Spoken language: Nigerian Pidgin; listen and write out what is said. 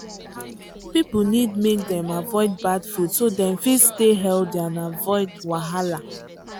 people need make dem avoid bad food so dem fit stay healthy and avoid wahala.